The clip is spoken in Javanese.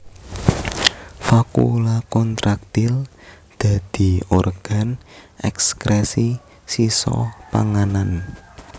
Vakuola kontraktil dadi organ èkskrèsi sisa panganan